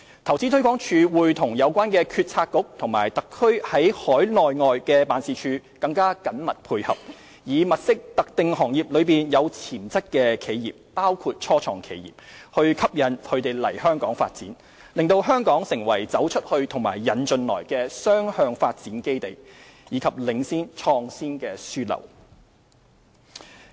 投資推廣署會與有關政策局和特區在海內外的辦事處更緊密配合，以物色特定行業中有潛質的企業，吸引其來港發展，使香港成為"走出去"和"引進來"的雙向發展基地，以及領先創業樞紐。